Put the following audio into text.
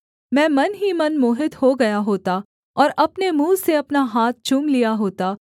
मैं मन ही मन मोहित हो गया होता और अपने मुँह से अपना हाथ चूम लिया होता